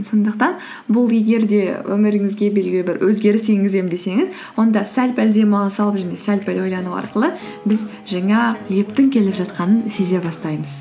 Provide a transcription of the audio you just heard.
сондықтан бұл егер де өміріңізге белгілі бір өзгеріс енгіземін десеңіз онда сәл пәл демала салып және сәл пәл ойлану арқылы біз жаңа лептің келе жатқанын сезе бастаймыз